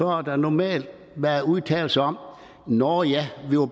har der normalt være udtalelser som nå ja vi var